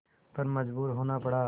पर मजबूर होना पड़ा